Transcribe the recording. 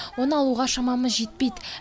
оны алуға шамамыз жетпейді